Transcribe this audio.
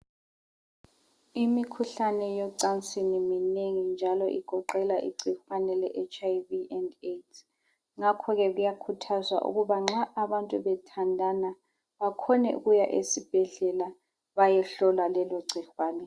Imikhuhlane yocansini minengi njalo igoqela igcikwane le HIV and AIDS ngakho ke kuyakhuthazwa ukuba nxa abantu bethandana, bakhone ukuya esibhedlela bayohlolwa lelogcikwane.